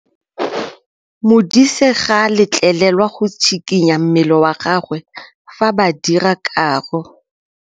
Modise ga a letlelelwa go tshikinya mmele wa gagwe fa ba dira karô.